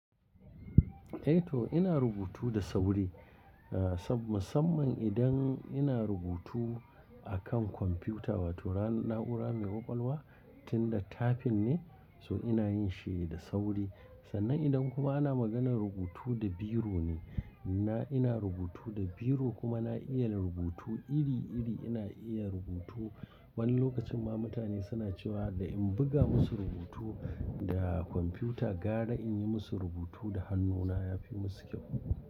Eh to ina rubutu da sauri, saboda musamman idan ina rubutu akan kwamfiyuta wato na'ura mai ƙwaƙwalwa tinda tafin ne so ina yin shi da sauri. Sannan idan kuma ana maganar rubutu da biro ne, ina rubutu da biro kuma na iya rubutu iri-iri. Ina iya rubutu wani lokacin ma mutane suna cewa da in buga musu rubutu da kwamfiyuta gaba da in yi musu rubutu da hannuna yafi musu kyau.